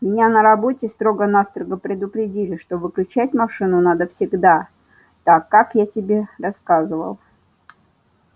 меня на работе строго-настрого предупредили что выключать машину надо всегда так как я тебе рассказывал